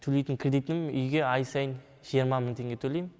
төлейтін кредитім үйге ай сайын жиырма мың теңге төлейм